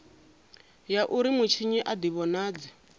ya uri mutshinyi a divhonadze